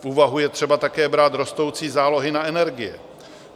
V úvahu je třeba také brát rostoucí zálohy na energie.